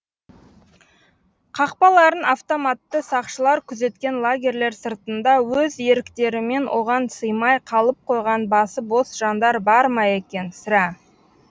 қақпаларын автоматты сақшылар күзеткен лагерлер сыртында өз еріктерімен оған сыймай қалып қойған басы бос жандар бар ма екен сірә